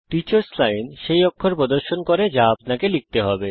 teachers line সেই অক্ষর প্রদর্শন করে যা লিখতে হবে